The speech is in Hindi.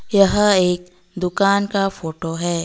यह एक दुकान का फोटो हैं।